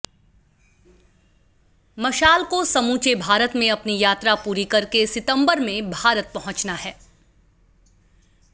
मशाल को समूचे भारत में अपनी यात्रा पूरी करके सितंबर में भारत पहुंचना है